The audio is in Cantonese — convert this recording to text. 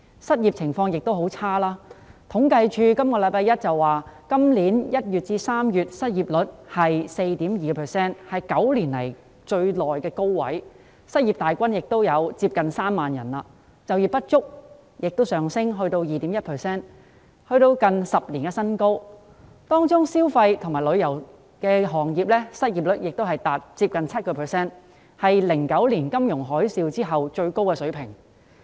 失業情況同樣轉差，政府統計處於本周一公布今年1月至3月的失業率是 4.2%， 是9年來的高位，失業大軍接近3萬人，就業不足率亦上升至 2.1%， 是近10年的新高，當中消費及旅遊業的失業率亦接近 7%， 是2009年金融海嘯後的最高水平。